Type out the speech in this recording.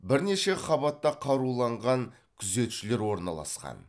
бірнеше қабатта қаруланған күзетшілер орналасқан